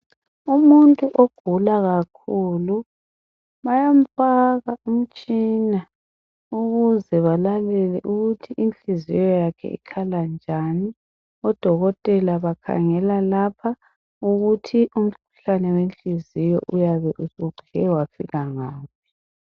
Umuntu ogula kakhulu bayamfaka umtshina ukuze balalele ukuthi inhliziyo yakhe ikhala njani. Odokotela bakhangela lapha ukuthi umkhuhlane wenhliziyo uyabe usuqhele wafika ngaphi.